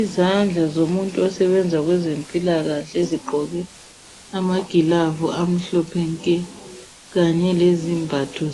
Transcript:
Izandla zomuntu osebenza kwezempilakahle zigqoke amagilavu amhlophe nke kanye lezembatho